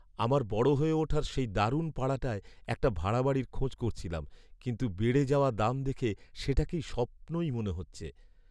আমার বড় হয়ে ওঠার সেই দারুণ পাড়াটায় একটা ভাড়া বাড়ির খোঁজ করছিলাম, কিন্তু বেড়ে যাওয়া দাম দেখে সেটাকে স্বপ্নই মনে হচ্ছে।